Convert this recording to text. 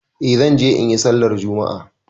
Eh zan je in yi sallar juma'a.